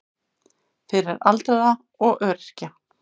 Fyrir aldraða og öryrkja.